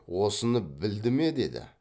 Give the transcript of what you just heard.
осыны білді ме деді